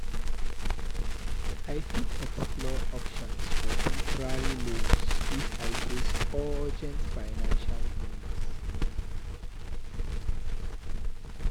I fit explore options for temporary loans if I face urgent financial needs.